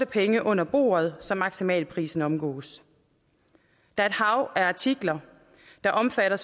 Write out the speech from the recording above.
penge under bordet så maksimalprisen omgås der er et hav af artikler der omfatter